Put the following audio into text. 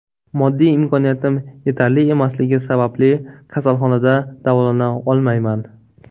Moddiy imkoniyatim yetarli emasligi sababli kasalxonada davolana olmayman.